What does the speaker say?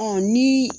ni